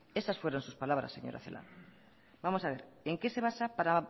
esas fueron sus palabras señora celaá vamos a ver en qué se basa para